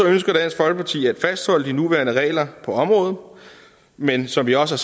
ønsker dansk folkeparti at fastholde de nuværende regler på området men som vi også